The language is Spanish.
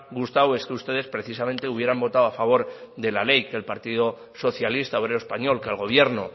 gustado es que ustedes precisamente hubieran votado a favor de la ley que el partido socialista obrero español que al gobierno